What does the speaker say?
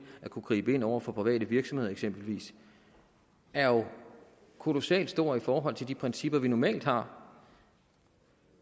at kunne gribe ind over for private virksomheder eksempelvis er kolossalt stor i forhold til de principper vi normalt har